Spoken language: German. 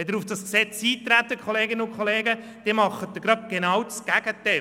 Wenn Sie nun auf dieses Gesetz eintreten, dann tun Sie das genaue Gegenteil: